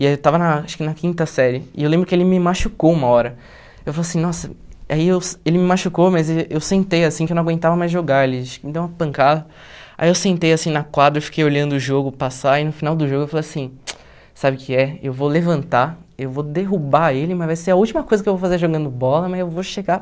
e aí eu estava na acho que na quinta série, e eu lembro que ele me machucou uma hora, eu falei assim, nossa, aí eu ele me machucou, mas eu sentei assim, que eu não aguentava mais jogar, ele acho que me deu uma pancada, aí eu sentei assim na quadra, eu fiquei olhando o jogo passar, e no final do jogo eu falei assim, sabe o que é, eu vou levantar, eu vou derrubar ele, mas vai ser a última coisa que eu vou fazer jogando bola, mas eu vou chegar...